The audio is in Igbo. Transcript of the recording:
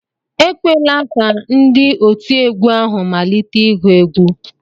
Ekwela ka ndị otiegwu ahụ malite ihu egwu!